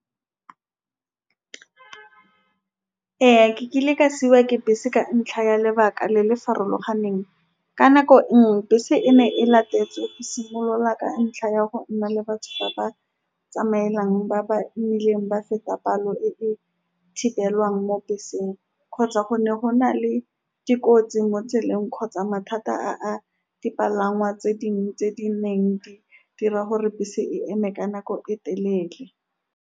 Ee, ke kile ka ke bese ka ntlha ya lebaka le le farologaneng, ka nako nngwe, bese e ne e latetswe e simolola ka ntlha ya go nna le batho ba ba tsamaelang ba ba imileng ba feta palo e e thibelwang mo beseng kgotsa go ne go na le dikotsi mo tseleng, kgotsa mathata a dipalangwa tse dingwe tse di neng di dira gore bese e eme ka nako e telele.